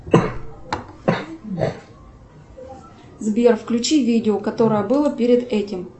сбер включи видео которое было перед этим